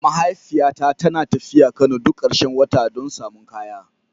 Mahaifiyata tana tafiya Kano duk karshen wata don samun kaya.